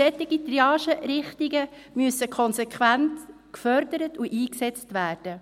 Solche Triagerichtungen müssen konsequent gefordert und eingesetzt werden.